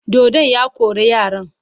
Dodon ya kore yaran.